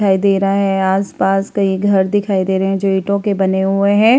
दिखाई दे रहा है और आस-पास कई घर दिखाई दे रहे है जो ईट्टो के बने हुए हैं।